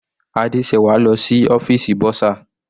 Adesewa lọ sí ọ́fìsì bursar.